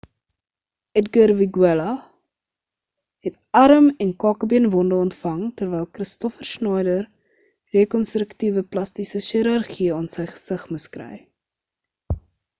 edgar veguilla het arm en kakebeenwonde ontvang terwyl kristoffer schneider rekonstruktiewe plastiese chirurgie aan sy gesig moes kry